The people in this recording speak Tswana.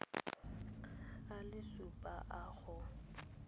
a le supa a go